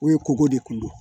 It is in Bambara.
U ye koko de kun don